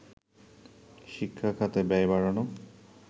শিক্ষা খাতে ব্যয় বাড়ানো